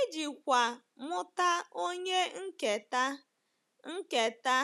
Ijikwa mụta onye nketa, nketa,